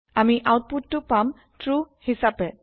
আমি আউতপুতটো পাম ট্ৰু হিছাপে